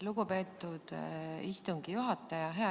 Lugupeetud istungi juhataja!